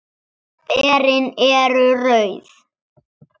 Berin eru rauð.